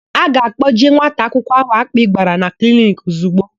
A ga-akpọje nwata akwụkwọ áhụ̀ akpị gbara na kliniki ozigbo.